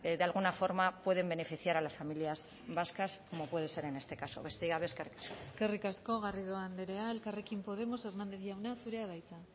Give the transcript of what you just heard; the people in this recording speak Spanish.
de alguna forma pueden beneficiar a las familias vascas como puede ser en este caso besterik ez eskerrik asko eskerrik asko garrido andrea elkarrekin podemos hernández jauna zurea da hitza